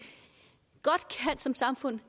som samfund